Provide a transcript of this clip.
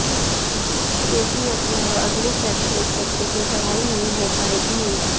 चूंकि अब यहां अगले शैक्षणिक सत्र से पढ़ाई नहीं हो पायेगी